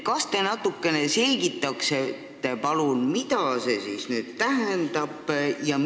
Kas te selgitaksite palun, mida see tähendab?